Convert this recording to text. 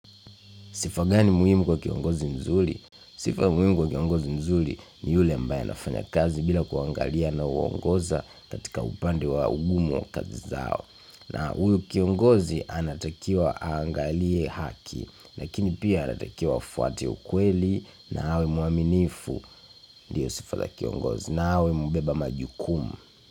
Sifa gani muhimu kwa kiongozi mzuri? Sifa muhimu kwa kiongozi mzuri ni yule ambaye anafanya kazi bila kuangalia anauongoza katika upande wa ugumo wa kazi zao. Na huyu kiongozi anatakiwa aangalie haki, lakini pia anatakiwa afuate ukweli na awe mwaminifu ndiyo sifa la kiongozi nao hubeba majukumu.